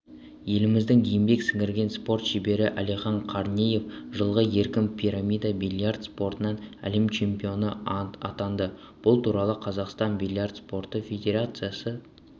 еліміздің еңбек сіңірген спорт шебері әлихан қаранеев жылғы еркін пирамида бильярд спортынан әлем чемпионы атанды бұл туралы қазақстанның бильярд спорты федерациясы